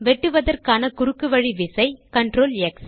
வெட்டுவதற்கான குறுக்கு வழி விசை CTRLX